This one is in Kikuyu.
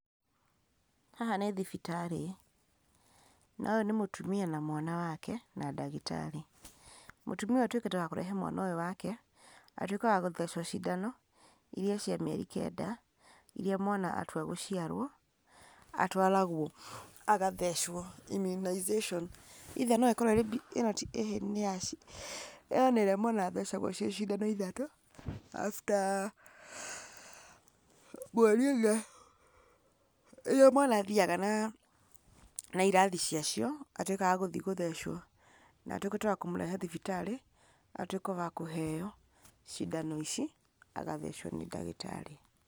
Haha nĩ thibitarĩ, no yũ nĩ mũtumia na mwana wake na ndagĩtarĩ, mũtumia ũyũ atuĩkĩte wa kũrehe mwana ũyũ wake, atuĩke wa gũthecwo cindano, iria cia mĩeri kenda, iria mwana atua gũciarwo, atwaragwo agathecwo immunization, either no ĩkorwo ĩ ĩhĩ nĩ ya , ĩyo nĩrĩa mwana athecagwo ciĩ cindano ithatũ after mweri ũmwe rĩrĩa mwana athiaga na riathi icio, atuĩka wa gũthiĩ gũthecwo, na atuĩkĩte wa kũmũrehe thibitarĩ, atuĩke wa kũheyo cindano ici, arathecwo nĩ ndagĩtarĩ.